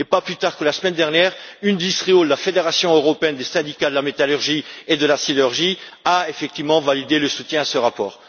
Pas plus tard que la semaine dernière, IndustriAll, la fédération européenne des syndicats de la métallurgie et de la sidérurgie, a effectivement validé le soutien à ce rapport.